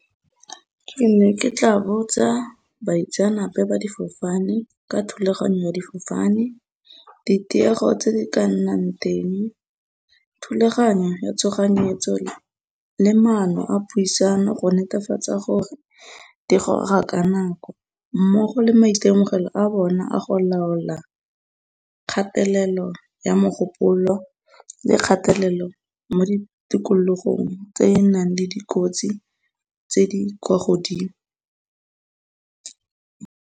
Ke ne ke tla botsa baitseanape ba difofane ka thulaganyo ya difofane ditiego tse di ka nnang teng, thulaganyo ya tshoganyetso le le maano a puisano go netefatsa gore di goga ka nako mmogo le maitemogelo a bona a go laola kgatelelo ya mogopolo le kgatelelo mo di tikologong tse e e nang le dikotsi tse di kwa godimo.